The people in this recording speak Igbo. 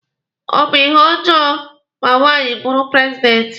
Ọ bụ ihe ọjọọ ma nwaanyị bụrụ prezidenti?